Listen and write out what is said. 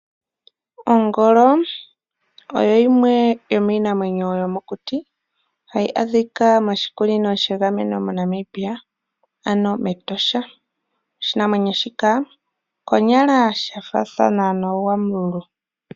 Ongolo oyo yimwe yomiinamwenyo yomokuti hayi adhika moshikunino shegameno moNamibia ano mEtosha. Oshinamwenyo shika okonyala shifaathane nooGwamululu.